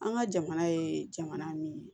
An ka jamana ye jamana min ye